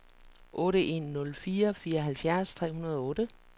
otte en nul fire fireoghalvfjerds tre hundrede og otte